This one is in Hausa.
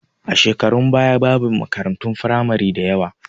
A shekarun baya babu makaratun firamari da yawa